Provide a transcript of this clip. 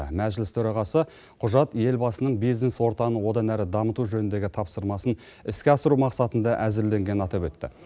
мәжіліс төрағасы құжат елбасының бизнес ортаны одан әрі дамыту жөніндегі тапсырмасын іске асыру мақсатында әзірленгенін атап өтті